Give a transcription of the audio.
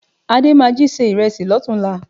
Adé máa jí se ìrẹsì lọ́tùn-únla